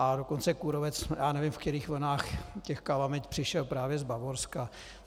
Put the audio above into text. A dokonce kůrovec, já nevím, ve kterých vlnách těch kalamit, přišel právě z Bavorska.